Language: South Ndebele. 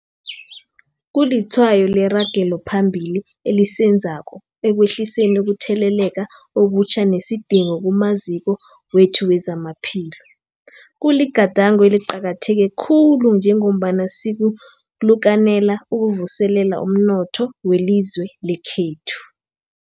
Kulitshwayo leragelo phambili esilenzako ekwehliseni ukutheleleka okutjha nesidingo kumaziko wethu wezamaphilo. Kuligadango eliqakatheke khulu njengombana sikalukanela ukuvuselela umnotho welizwe lekhethu.